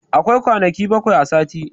Akwai kwanaki baƙwai a sati.